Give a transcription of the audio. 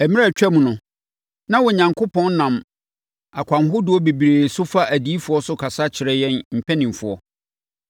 Mmerɛ a atwam no, na Onyankopɔn nam akwan ahodoɔ bebree so fa adiyifoɔ so kasa kyerɛ yɛn mpanimfoɔ.